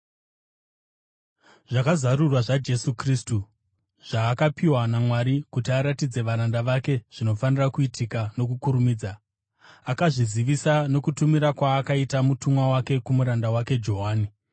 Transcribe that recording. Zvakazarurwa zvaJesu Kristu, zvaakapiwa naMwari kuti aratidze varanda vake zvinofanira kuitika nokukurumidza. Akazvizivisa nokutumira kwaakaita mutumwa wake kumuranda wake Johani,